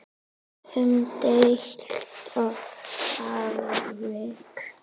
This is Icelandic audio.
Umdeilt atvik?